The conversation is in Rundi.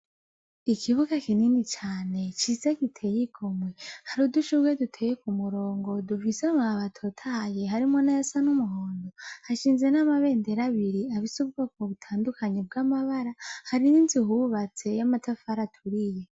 Ikibuga kinini cane ciza giteye igomwe hari udushubuwe duteye ku murongo dufise mu abatotaye harimo nayasa n'umuhondo, hashinze n'amabendera abiri abise ubwoko butandukanyi bw'amabara hari n'inzu yubatse y'amatafara aturiye.